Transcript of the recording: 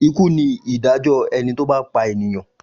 Ikú ni ìdájọ́ ẹni tó bá pa ènìyàn.